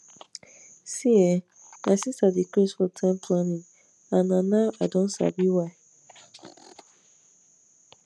see[um]my sister dey craze for time planning and na now i don sabi why